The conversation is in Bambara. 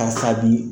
Karisa bi